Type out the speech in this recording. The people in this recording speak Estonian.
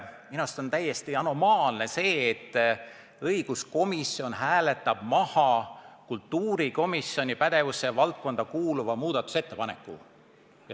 Minu meelest on täiesti anomaalne, et õiguskomisjon hääletab maha kultuurikomisjoni pädevusvaldkonda kuuluva muudatusettepaneku.